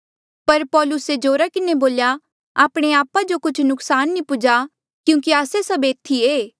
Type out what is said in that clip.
पर पौलुसे जोरा किन्हें बोल्या आपणे आपा जो कुछ नुक्सान नी पुज्हा क्यूंकि आस्से सभ एथी ऐें